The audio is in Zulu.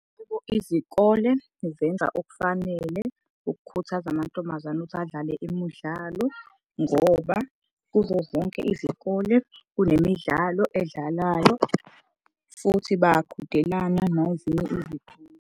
Izikole zenza okufanele ukukhuthaza amantombazane ukuthi adlale imidlalo ngoba kuzo zonke izikole kunemidlalo edlalwayo. Futhi bayaqhudelana nezinye .